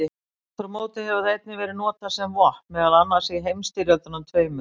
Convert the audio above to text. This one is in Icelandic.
Aftur á móti hefur það einnig verið notað sem vopn, meðal annars í heimsstyrjöldunum tveimur.